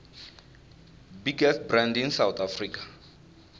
biggest band in south africa